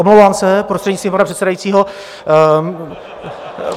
Omlouvám se, prostřednictvím pana předsedajícího...